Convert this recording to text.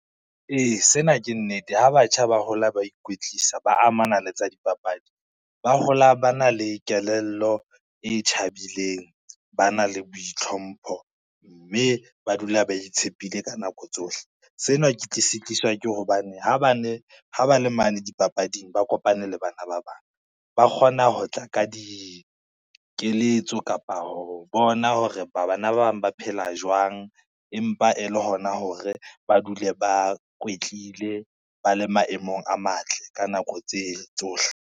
E, sena ke nnete ha batjha ba hola ba ikwetlisa ba amana le tsa dipapadi, ba hola ba na le kelello e tjhabileng, ba na le boitlhompho, mme ba dula ba itshepile ka nako tsohle. Sena se tliswa ke hobane, ha ba le mane dipapading ba kopane le bana ba bang ba kgona ho tla ka dikeletso kapa ho bona hore ba bana ba bang ba phela jwang, empa e le hona hore ba dule ba kwetlile, ba le maemong a matle ka nako tse tsohle.